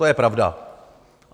To je pravda.